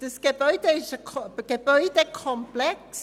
Das Gebäude ist eigentlich ein Gebäudekomplex.